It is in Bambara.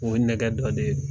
O ye nɛgɛ dɔ de ye.